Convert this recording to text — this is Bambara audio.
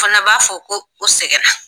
fana b'a fɔ ko o sɛgɛn na.